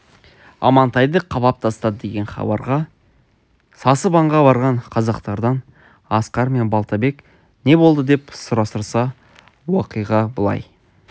амантайды қамап тастады деген хабарға сасып аңға барған казактардан асқар мен балтабек не болды деп сұрастырса уақиға былай